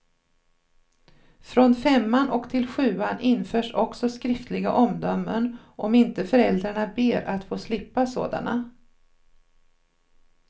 Från femman och till sjuan införs också skriftliga omdömen, om inte föräldrarna ber att få slippa sådana.